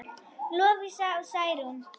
Lovísa og Særún.